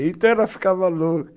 Então ela ficava louca.